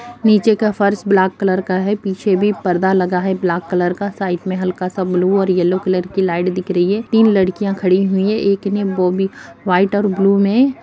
नीचे का फर्श ब्लैक कलर का है पीछे भी पर्दा लगा है ब्लैक कलर का साइड में हल्का-सा ब्लू और येलो कलर की लाइट दिख रही है तीन लड़कियां खड़ी हुई है एक ने वो भी वाइट और ब्लू में --